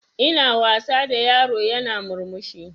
Ina wasa da yaro yana murmushi